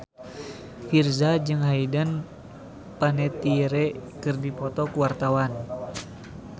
Virzha jeung Hayden Panettiere keur dipoto ku wartawan